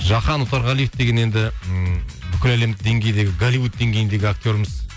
жахан отарғалиев деген енді ммм бүкіл әлемдік деңгейдегі голливуд деңгейіндегі актеріміз